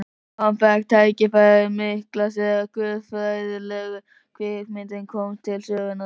Hann fékk tækifærið mikla þegar guðfræðilegu kvikmyndirnar komu til sögunnar.